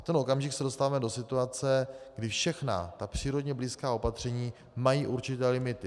V tenhle okamžik se dostáváme do situace, kdy všechna ta přírodě blízká opatření mají určité limity.